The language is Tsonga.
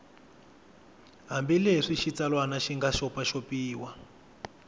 hambileswi xitsalwana xi nga xopaxopiwa